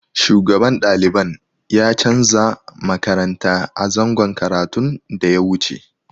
Shugaban daliban ya canza makaranta a zangon karatun da ya wuce.